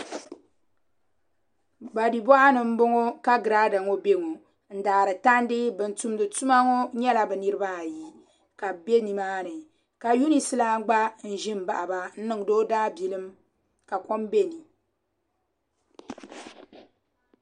Pali boɣa ni n boŋo ka girada ŋo bɛ ŋo n daari tandi bin tumdi tuma ŋo nyɛla bi nirabaayi ka bi bɛ nimaani ka yunis lan gba n ʒi n baɣaba n niŋdi o daabilim ka kpam bɛ ni